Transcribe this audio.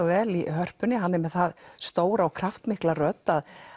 vel í Hörpunni hann er með það stóra og kraftmikla rödd